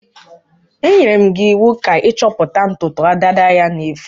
Enyere m gi iwu ka i choputa ntutu dada ya na-efu.